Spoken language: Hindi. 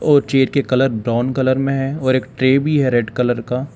और चेयर के कलर ब्राउन कलर में है और एक ट्रे भी है रेड कलर का।